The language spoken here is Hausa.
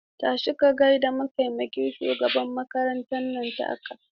Tashi ka gaida mataimakin shugaban makarantar nan take!